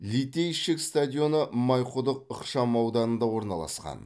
литейщик стадионы майқұдық ықшамауданында орналасқан